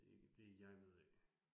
Ikke det jeg ved af